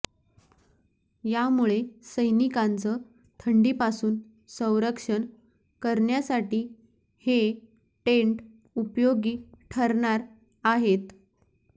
यामुळे सैनिकांचं थंडीपासून संरक्षण करण्यासाठी हे टेंट उपयोगी ठरणार आहेत